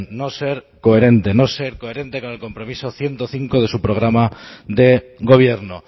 no ser coherente no ser coherente con el compromiso ciento cinco de su programa de gobierno